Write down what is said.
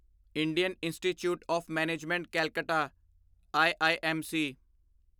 Indian Institute of Management Calcutta IIMC